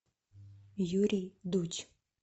юрий дудь